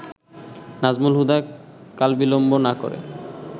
নাজমুল হুদা কালবিলম্ব না করে